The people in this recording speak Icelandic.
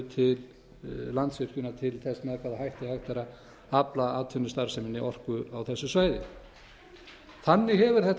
til þess með hvaða hætti hægt væri að afla atvinnustarfseminni orku á þessu svæði þannig hefur þetta